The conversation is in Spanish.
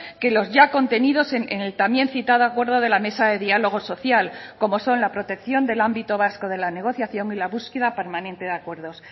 que los ya contenidos en el también citado acuerdo de la mesa de diálogo social como son la protección del ámbito vasco de la negociación y la búsqueda permanente de acuerdos